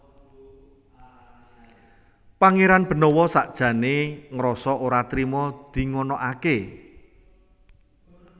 Pangéran Benawa sakjané ngrasa ora trima dinganakaké